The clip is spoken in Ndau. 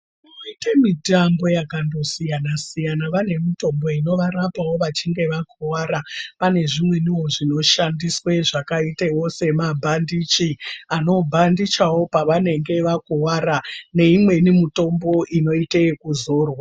Vanoite mitambo yakandosiyana siyana vanemitombo inovarapawo vachinge vakuvara, panezvimweniwo zvinoshandiswa zvakaitewo sema bhandichi anobhandichawo pavanenge vakuwara neimweni mutombo inoite yekuzorwa.